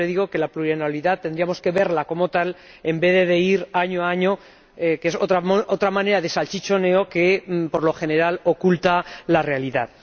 Yo siempre digo que la plurianualidad tendríamos que verla como tal, en vez de ir año a año, que es otra manera de salchichoneo que por lo general oculta la realidad.